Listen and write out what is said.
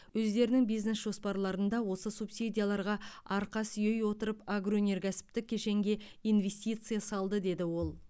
өздерінің бизнес жоспарларында осы субсидияларға арқа сүйей отырып агроөнеркәсіптік кешенге инвестиция салды деді ол